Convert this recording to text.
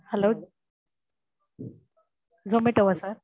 hello zomato வா sir?